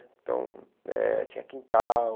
Então, eh tinha quintal.